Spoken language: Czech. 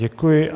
Děkuji.